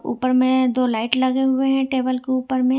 ऊपर में दो लाइट लगे हुए हैं टेबल के ऊपर में।